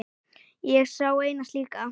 Ég á eina slíka.